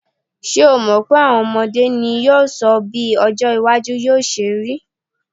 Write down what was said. Ṣé o mọ̀ pé à̀wọn ọmọdé ní yóò sọ bí ọjọ́-iwájú yóò ṣe rí.